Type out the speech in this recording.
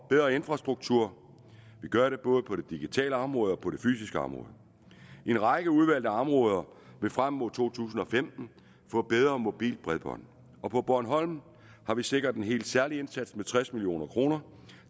bedre infrastruktur vi gør det både på det digitale område og på det fysiske område en række udvalgte områder vil frem mod to tusind og femten få bedre mobilt bredbånd og på bornholm har vi sikret en helt særlig indsats med tres million kroner